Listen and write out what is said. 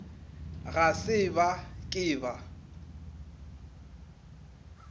ga se ba ke ba